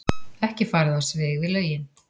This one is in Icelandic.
Ekki farið á svig við lögin